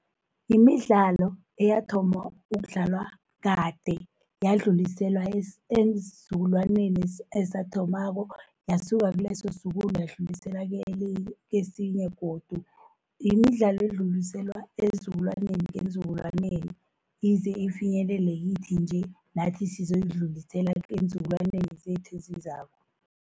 Imidlalo eyathoma ukudlalwa kade, yadluliselwa eenzukulwaneni ezathomako, yasuka kileso sizukulu yadluliselwa kesinye godu. Yimidlalo edluliselwa eenzukulwaneni ngeenzukulwaneni ize ifinyelele kithi nje, nathi sizoyidlulisela eenzukulwaneni zethu ezizako.